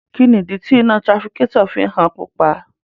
Kini idi ti ina tirafikatọ fi ń han pupa?